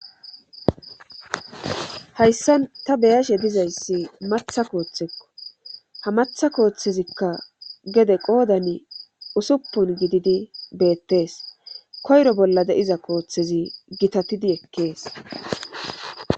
hayssan ta beyashe dizayssi matha kooththekko ha matha kooththezikka gede qoodan usuppun gididi beettees koyro bolla de7iza kooththezi gitatidi ekkees